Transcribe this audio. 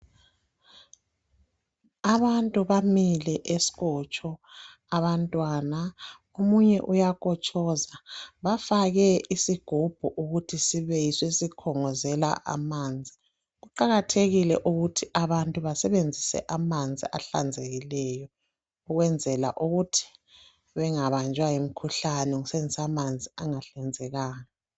Abantu bamile eskotsho, abantwana,. Omunye uyakotshoza. Bafake isigubhu, ukuthi sibe yiso esikhongozela amanzi. Kuqakathekile ukuthi abantu basebenzise amanzi ahlanzekileyo. Ukwenzela ukuthi bangabanjwa yimikhuhlane, ngokusebenzisa amanzi angahlanzekanga.